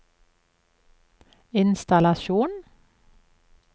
innstallasjon